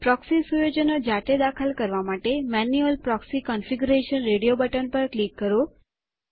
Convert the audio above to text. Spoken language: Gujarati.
પ્રોક્સી સુયોજનો જાતે દાખલ કરવા માટે manual proxy configuration radio button પર ક્લિક કરો